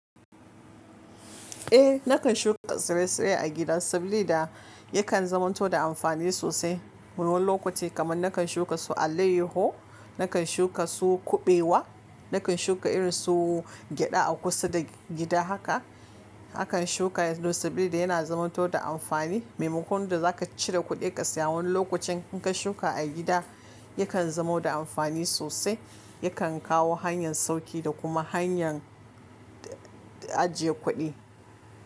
Eh nakan shuka tsire-tsire a gida sabili da yakan zamanto da amfani sosai. Wani lokuta kamar nakan shuka su alayyaho, nakan shuka su kuɓewa, nakan shuka irin su gyada a kusa da gida haka. Akan shuka yes don sabilida yana zamanto da amfani. Memokon da za ka cire kuɗi ka saya wani lokacin in ka shuka a gida yakan zamo da amfani sosai. Yakan kawo hanyar sauƙi da kuma hanyar ajiye kuɗi.